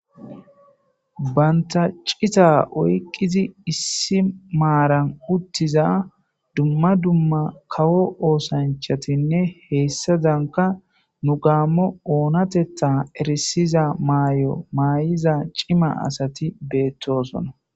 banta cita oyqizi issi maaran uttiza dumma dumma kawo oosanchatinne heessadanka nu gaammo oonatetha erisiza maayo maay7iza cima asati beettosona